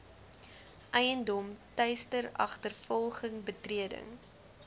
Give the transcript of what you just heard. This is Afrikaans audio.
eiendom teisteragtervolging betreding